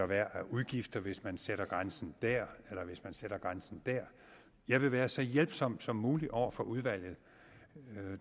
være af udgifter hvis man sætter grænsen dér eller hvis man sætter grænsen dér jeg vil være så hjælpsom som muligt over for udvalget